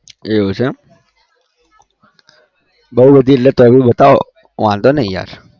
એવું છે એમ બહુ બધી એટલે તો भी બતાવો વાંધો નહિ યાર